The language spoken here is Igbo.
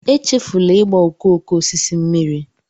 echefula ịgba okooko osisi mmiri